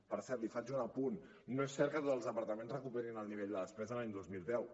per cert li faig un apunt no és cert que tots els departaments recuperin el nivell de despesa de l’any dos mil deu